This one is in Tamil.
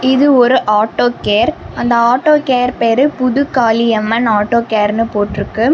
இது ஒரு ஆட்டோ கேர் அந்த ஆட்டோ கேர் பேரு புதுகாளியம்மன் ஆட்டோ கேர் போட்ருக்கு.